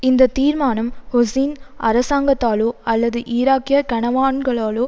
இந்த தீர்மானம் ஹூசின் அரசாங்கத்தாலோ அல்லது ஈராக்கிய கனவான்களாலோ